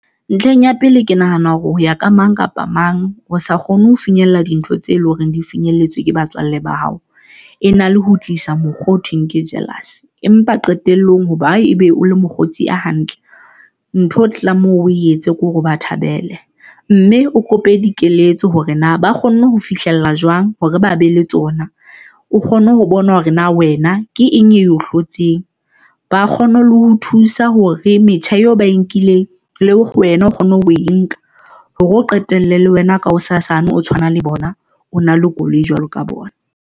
Ntlheng ya pele ke nahana hore ho ya ka mang kapa mang o sa kgone ho finyella dintho tse leng hore di finyelletseng ke batswalle ba hao. E na le ho tlisa mokgwa o thweng ke jealous empa qetelllong hoba ebe o le mokgotsi a hantle, ntho o tlang moo o etse ke hore o ba thabele mme o kope dikeletso hore na ba kgonne ho fihlella jwang hore ba be le tsona. O kgone ho bona hore na wena ke eng eo hlotseng ba kgone le ho thusa hore metjha eo ba e nkileng le wena o kgone ho e nka hore o qetelle le wena ka hosasane, o tshwana le bona, o na le koloi jwalo ka bona.